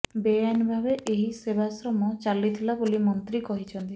ବେଆଇନ ଭାବେ ଏହି ସେବାଶ୍ରମ ଚାଲିଥିଲା ବୋଲି ମନ୍ତ୍ରୀ କହିଛନ୍ତି